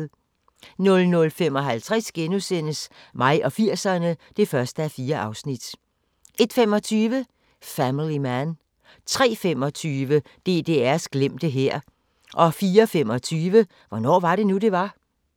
00:55: Mig og 80'erne (1:4)* 01:25: Family Man 03:25: DDR's glemte hær 04:25: Hvornår var det nu, det var?